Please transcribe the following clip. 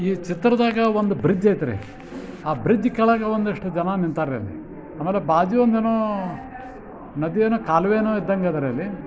ಈ ಚಿತ್ರದಾಗ ಒಂದು ಬ್ರಿಡ್ಜ್ ಐತ್ರಿ ಆ ಬ್ರಿಡ್ಜ್ ಕೆಳಗ ಒಂದಷ್ಟ್ ಜನ ನಿತಾರ್ರಿ. ಆಮ್ಯಾಲ ಬಾಜೂ ಒಂದೇನೋ ನದಿಯೇನೋ ಕಾಲ್ವೆಯೇನೋ ಇದ್ದಂಗದಾರ್ರೀ ಅಲ್ಲಿ.